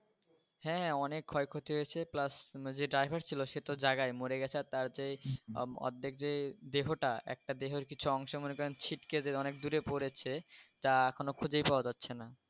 হ্যাঁ হ্যাঁ অনেক ক্ষয় ক্ষতি হয়েছে plus যে driver ছিল সে তো জায়গায় মরে গেছে আর তার যে অর্ধেক যে দেহটা একটা দেহের কিছু অংশ মনে করেন ছিটকে যে অনেক দূরে পরেছে তা এখনও খুজে পাওয়া যাচ্ছে না